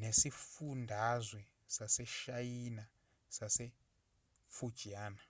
nesifundazwe saseshayina sasefujiana